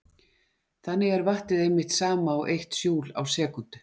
Þannig er vattið einmitt sama og eitt júl á sekúndu.